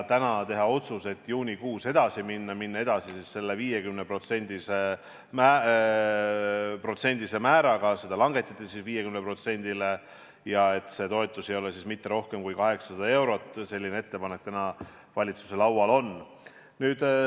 Täna teha otsus, et juunikuus edasi minna selle 50% määraga ja et see toetus ei ole mitte rohkem kui 800 eurot, selline ettepanek valitsuse laual on.